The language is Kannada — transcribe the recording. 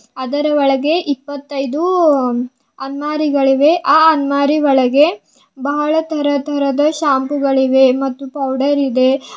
ಅದರ ಒಳಗೆ ಇಪ್ಪತ್ತೈದು ಅಲ್ಮಾರಿಗಳಿವೆ ಆ ಅಲ್ಮಾರಿ ಒಳಗೆ ಬಹಳ ತರತರದ ಶಾಂಪು ಗಳಿವೆ ಮತ್ತು ಪೌಡರ್ ಇದೆ.